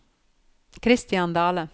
Christian Dahle